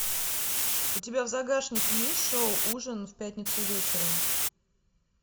у тебя в загашнике есть шоу ужин в пятницу вечером